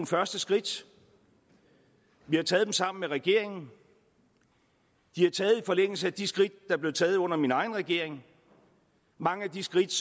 første skridt vi har taget dem sammen med regeringen de er taget i forlængelse af de skridt der blev taget under min egen regering mange af de skridt